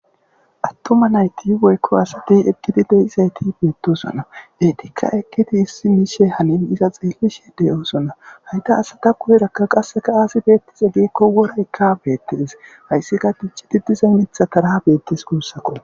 Atuma nayit woyikko asati eqqidi dizayissata betosona.ettikka eqqidi issi Mishshi hanin iza be'ishshe de'etees.hayita asata guyera azee worayikka betees.hayisskka tuccid diza miththatara betees gussakko.